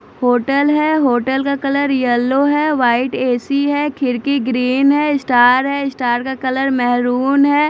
Hotel है hotel का colour yellow है वाइट ए सी है खिड़की ग्रीन है स्टार है स्टार का कलर मेहरून है।